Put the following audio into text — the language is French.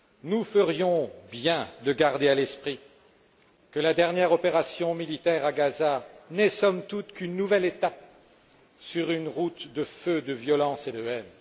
nous ferions bien de garder à l'esprit que la dernière opération militaire à Gaza n'est, somme toute, qu'une nouvelle étape sur une route de feu, de violence et de haine.